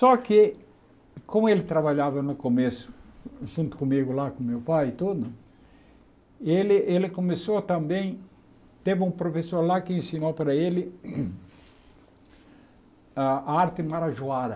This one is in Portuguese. Só que, como ele trabalhava no começo, junto comigo lá, com meu pai e tudo, ele ele começou também... Teve um professor lá que ensinou para ele a arte marajoara.